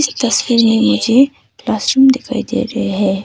तस्वीर क्लासरुम दिखाई दे रहे हैं।